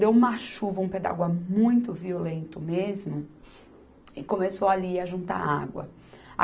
Deu uma chuva, um pé d'água muito violento mesmo, e começou ali a juntar água.